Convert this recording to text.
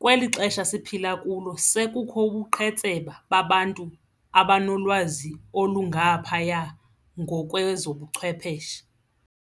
kweli xesha siphila kulo sekukho ubuqhetseba babantu abanolwazi olungaphaya ngokwezobuchwepheshe.